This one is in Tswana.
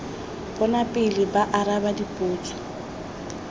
bona pele ba araba dipotso